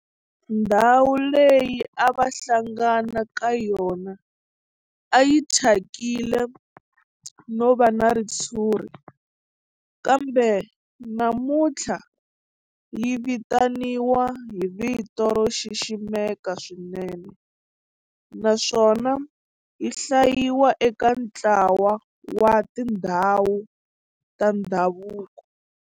Ndhawu leyi a va hlangana ka yona a yi thyakile no va na ritshuri kambe namuntlha yi vitaniwa hi vito ro xiximeka swinene naswona yi hlayiwa eka ntlawa wa tindhawu ta ndhavuko.